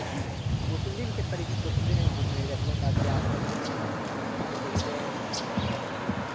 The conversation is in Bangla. প্রথম দিন খেতে পারিনি প্রথম দিন আমি বমি লেগে গেছিল তারপরে আস্তে আস্তে খেতে খেতে এখন practice হয়ে গেছে।